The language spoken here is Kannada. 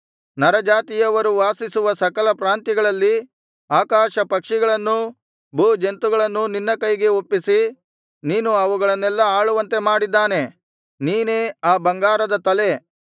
ನರಜಾತಿಯವರು ವಾಸಿಸುವ ಸಕಲ ಪ್ರಾಂತ್ಯಗಳಲ್ಲಿ ಆಕಾಶಪಕ್ಷಿಗಳನ್ನೂ ಭೂಜಂತುಗಳನ್ನೂ ನಿನ್ನ ಕೈಗೆ ಒಪ್ಪಿಸಿ ನೀನು ಅವುಗಳನ್ನೆಲ್ಲಾ ಆಳುವಂತೆ ಮಾಡಿದ್ದಾನೆ ನೀನೇ ಆ ಬಂಗಾರದ ತಲೆ